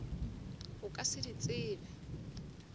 o ka se di tsebe